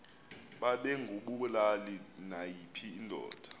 babengabulali nayiphi indoda